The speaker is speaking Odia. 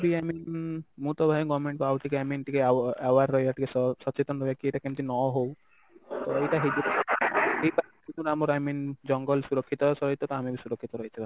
i mean ମୁଁ ତ ଭାଇ government କୁ ଆଉ ଟିକେ i mean aware ରହିବା ଟିକେ ସ ସଚେତନ ରହିବା କି ଏଇଟା କେମିତି ନ ହଉ ତ ଏଇଟା ଆମର i mean ଜଙ୍ଗଲ ସୁରକ୍ଷିତ ସହିତ ତ ଆମେ ବି ସୁରକ୍ଷିତ ରହିଥିବା